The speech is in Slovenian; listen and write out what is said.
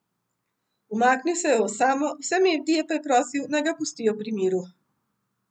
Umaknil se je v osamo, vse medije pa je prosil, naj ga pustijo pri miru.